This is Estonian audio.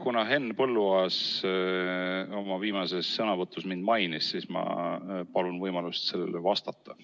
Kuna Henn Põlluaas oma viimases sõnavõtus mind mainis, siis ma palun võimalust sellele vastata.